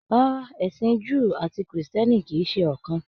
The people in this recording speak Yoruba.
Rárá, ẹsìn Júù àti Krìstìẹ́nì kìí ṣe ọ̀kan.